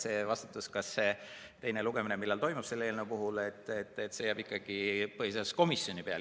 See vastutus, millal teine lugemine toimub, jääb ikkagi põhiseaduskomisjoni peale.